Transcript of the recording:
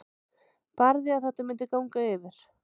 Barði að þetta myndi ganga yfir.